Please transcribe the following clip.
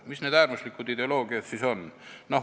Mis need siis on?